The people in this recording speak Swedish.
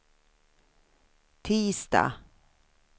tisdag